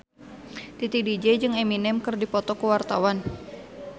Titi DJ jeung Eminem keur dipoto ku wartawan